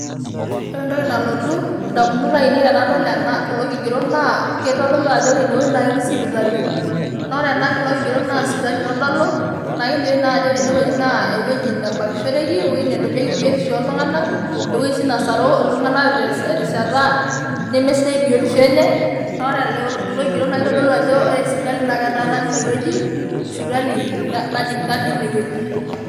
Ore entoki nalotu idamunot ainei tenadol kulo kigerot naa keitodolu ajo ore ine wueji naa ketii sipitali. Naa ore kulo kigerot naa sipitali keitodolu naa kelioyu naa kulo kigerot naa ewueji nebakishoreki naa ewueji nedolioki biotisho oo oltung'anak ewueji sii nasaru iltung'anak te rishata nemesidai biotisho enye, naa ore kulo kigerot keitodolu ajo ore sipitali naa ketaana teine wueji, sipitali najing natii ene wueji.